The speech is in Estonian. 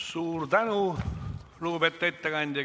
Suur tänu, lugupeetud ettekandja!